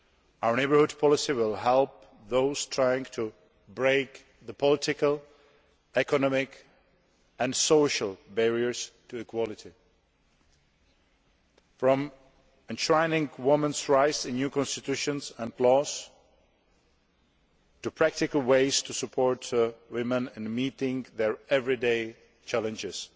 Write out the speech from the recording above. Our neighbourhood policy will help those trying to break the political, economic and social barriers to equality, through measures ranging from enshrining women's rights in new constitutions and laws to practical ways of supporting women in meeting their everyday challenges.